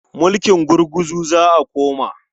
Mulking gurguzu za a koma.